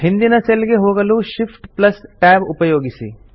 ಹಿಂದಿನ ಸೆಲ್ ಗೆ ಹೋಗಲು Shift Tab ಉಪಯೋಗಿಸಿ